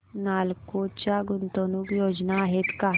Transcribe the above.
नालको च्या गुंतवणूक योजना आहेत का